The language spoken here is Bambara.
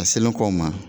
A selen kɔ o ma